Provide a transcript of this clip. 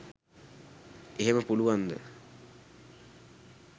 එහෙම පුළුවන්ද